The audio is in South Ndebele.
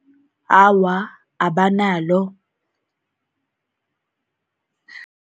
Awa, abanalo.